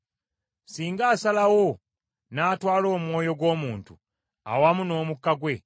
Singa asalawo n’atwala omwoyo gw’omuntu awamu n’omukka gwe,